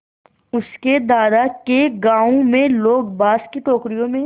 उसके दादा के गाँव में लोग बाँस की टोकरियों में